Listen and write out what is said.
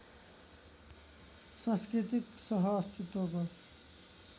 सांस्कृतिक सह अस्तित्वको